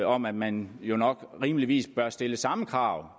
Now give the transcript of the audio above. om at man jo nok rimeligvis bør stille samme krav